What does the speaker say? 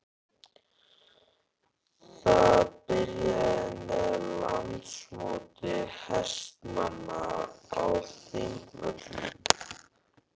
Það byrjaði með Landsmóti hestamanna á Þingvöllum.